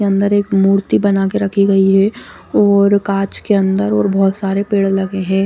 अंदर एक मूर्ति बना के रखी गई है और कांच के अंदर और बहुत सारे पेड़ लगे हैं।